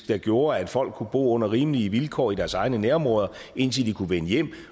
der gjorde at folk kunne bo under rimelige vilkår i deres egne nærområder indtil de kunne vende hjem